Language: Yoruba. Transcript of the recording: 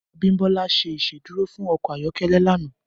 Abiodun ṣé Ìṣédùró fún ọkọ ayọkẹlẹ lànã